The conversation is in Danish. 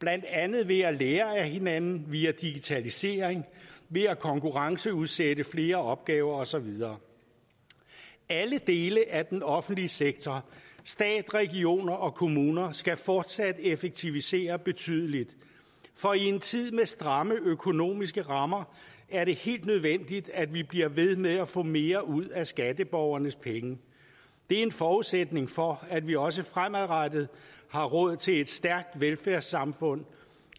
blandt andet ved at lære af hinanden via digitalisering ved at konkurrenceudsætte flere opgaver og så videre alle dele af den offentlige sektor stat regioner og kommuner skal fortsat effektivisere betydeligt for i en tid med stramme økonomiske rammer er det helt nødvendigt at vi bliver ved med at få mere ud af skatteborgernes penge det er en forudsætning for at vi også fremadrettet har råd til et stærkt velfærdssamfund